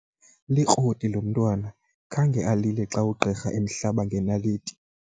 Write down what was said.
Likroti lo mntwana khange alile xa ugqirha emhlaba ngenaliti.